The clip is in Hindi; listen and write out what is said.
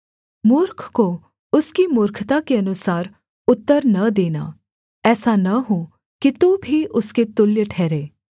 मूर्ख को उसकी मूर्खता के अनुसार उत्तर न देना ऐसा न हो कि तू भी उसके तुल्य ठहरे